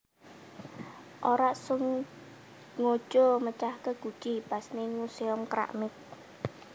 Ora sengojo mecahke guci pas ning Museum Keramik